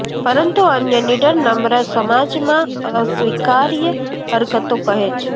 પરંતુ અન્ય નીડર નમ્ર સમાજમાં અસ્વીકાર્ય હરકતો કહે છે